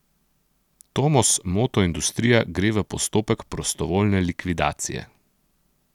Tomos motoindustrija gre v postopek prostovoljne likvidacije.